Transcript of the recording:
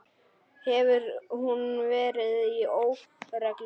Hefur hún verið í óreglu?